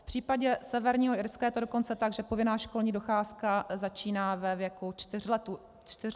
V případě Severního Irska je to dokonce tak, že povinná školní docházka začíná ve věku 4 let dítěte.